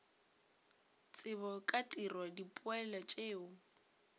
tsebo ka tiro dipoelo tšeo